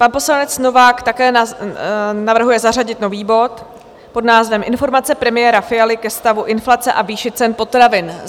Pan poslanec Novák také navrhuje zařadit nový bod pod názvem Informace premiéra Fialy ke stavu inflace a výši cen potravin.